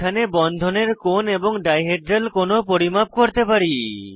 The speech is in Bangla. এখানে বন্ধনের কোণ এবং ডাই হেড্রাল কোণ ও পরিমাপ করতে পারি